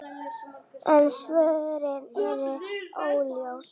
En svörin eru óljós.